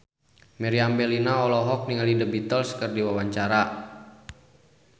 Meriam Bellina olohok ningali The Beatles keur diwawancara